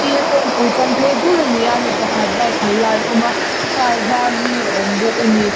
kawngpui champion phei dul ani a mi pakhat bike khalh lai a awm a car var hi a awmbawk ani--